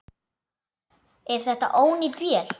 Er þetta ónýt vél?